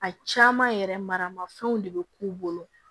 A caman yɛrɛ maramafɛnw de be k'u bolo